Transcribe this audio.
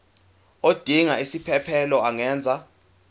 odinga isiphesphelo angenza